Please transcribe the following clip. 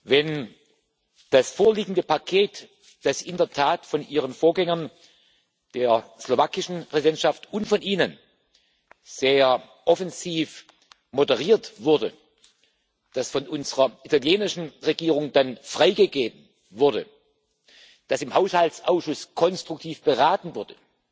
Wenn das vorliegende Paket, das in der Tat von Ihren Vorgängern der slowakischen Präsidentschaft und von Ihnen sehr offensiv moderiert wurde, das von unserer italienischen Regierung dann freigegeben wurde, das im Haushaltsausschuss konstruktiv beraten wurde,